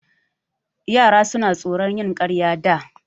Yara suna tsoron yin ƙarya da.